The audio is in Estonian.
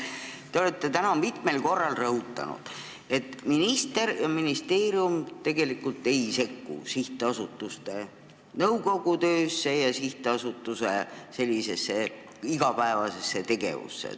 Te olete täna mitmel korral rõhutanud, et minister ja ministeerium tegelikult ei sekku sihtasutuste nõukogude töösse ja sihtasutuste igapäevasesse tegevusse.